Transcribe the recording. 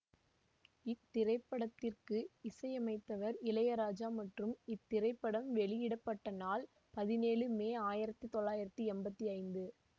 இத்திரைப்படத்திற்கு இசையமைத்தவர் இளையராஜா மற்றும் இத்திரைப்படம் வெளியிட பட்ட நாள் பதினேழு மே ஆயிரத்தி தொள்ளாயிரத்தி எம்பத்தி ஐந்து